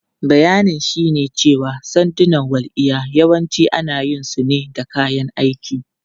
Bayanin shine cewa sandunan walƙiya yawanci ana yin su ne da kayan aiki.